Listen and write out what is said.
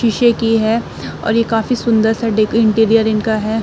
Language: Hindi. शीशे की है और ये काफी सुंदर-सा डेक इंटीरियर इनका है।